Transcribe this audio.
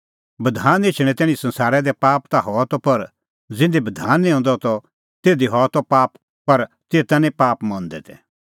बधान एछणैं तैणीं संसारा दी पाप ता हआ त पर ज़िधी बधान निं हंदअ त तिधी हआ त पाप पर तेता निं पाप मंदै तै